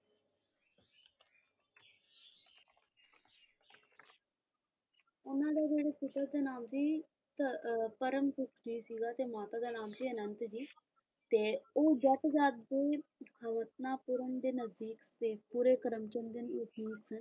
ਉਹਨਾਂ ਦਾ ਜਿਹੜਾ ਪਿਤਾ ਦਾ ਨਾਮ ਸੀ ਅਹ ਪਰਮ ਸੀਗਾ ਤੇ ਮਾਤਾ ਦਾ ਨਾਮ ਸੀ ਅਨੰਤ ਜੀ ਤੇ ਉਹ ਜੱਟ ਜਾਤ ਦੇ ਹਵਤਨਾਪੂਰ ਦੇ ਨਜ਼ਦੀਕ ਸ਼ੇਖ਼ੂਪੁਰੇ ਕਰਮਚੰਦ ਦੇ ਵਸਨੀਕ